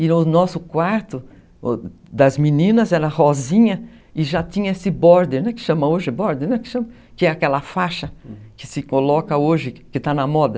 E o nosso quarto das meninas era rosinha e já tinha esse border, que chama hoje border, que é aquela faixa, hum, que se coloca hoje, que está na moda.